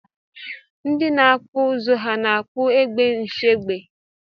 Ndi na akpụ ụzụ ha na akpụ egbe nshiegbe?